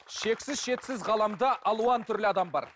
шексіз шетсіз ғаламда алуан түрлі адам бар